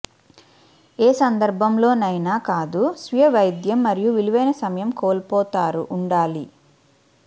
ఏ సందర్భంలోనైనా కాదు స్వీయ వైద్యం మరియు విలువైన సమయం కోల్పోతారు ఉండాలి